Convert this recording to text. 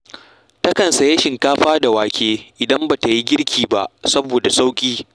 Takan sayi shinkafa da wake idan ba ta yi girki ba, saboda ya fi sauƙi